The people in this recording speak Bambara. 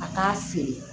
A t'a feere